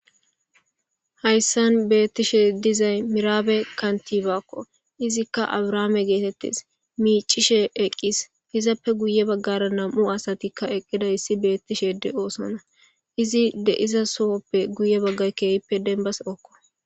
Hayssan beettishe dizay miraabe kantibakko izikka abrahaame geetettes miicishe eqqis izappe guye baggara nam'u asatikka eqqida issi beettishe de'sona izi deiza sohoppe guye baggay keehippe denbas okko.